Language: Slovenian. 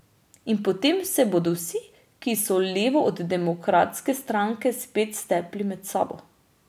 In potem se bodo vsi, ki so levo od Demokratske stranke, spet stepli med sabo.